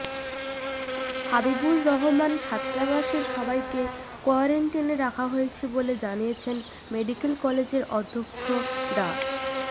হাবিবুর রহমান ছাত্রাবাসের সবাইকে কোয়ারেন্টিনে রাখা হয়েছে বলে জানিয়েছেন মেডিকেল কলেজের অধ্যক্ষ ডা